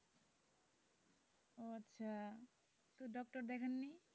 আচ্ছা তো doctor দেখান নি?